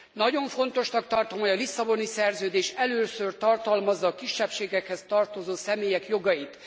Nagyon fontosnak tartom, hogy a Lisszaboni Szerződés először tartalmazza a kisebbségekhez tartozó személyek jogait.